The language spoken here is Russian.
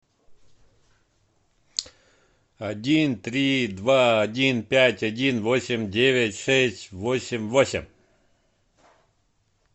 один три два один пять один восемь девять шесть восемь восемь